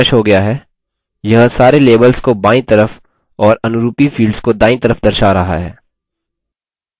यह सारे labels को बायीं तरफ और अनरूपी fields को दायीं तरफ दर्शा रहा है